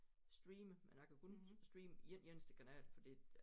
Streame men jeg kan kun streame en eneste kanal fordi